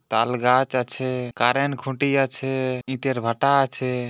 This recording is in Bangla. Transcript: তালগাছ আছে কারেন্ট খুঁটি আছে ইটের ভাটা আছে।